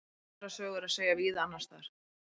Aðra sögu er að segja víða annars staðar.